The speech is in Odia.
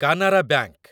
କାନାରା ବାଙ୍କ